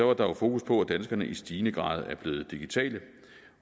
var der jo fokus på at danskerne i stigende grad er blevet digitale